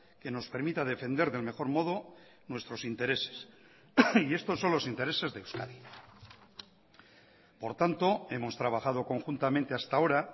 que nos permita defender del mejor modo nuestros intereses y estos son los intereses de euskadi por tanto hemos trabajado conjuntamente hasta ahora